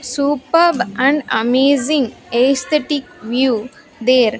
Superb and amazing aesthetic view there.